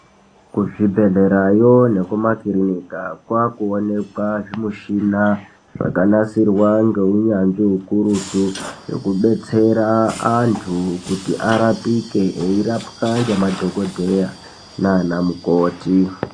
Kuzvibhledhlerayo nekumakiriniki kwaakuonekwa zvimichini zvakanasirwa ngeunyanzvi hukurutu zvekudetsera antu kuti arapike eirapwa ngemadhokodheya naanamukoti.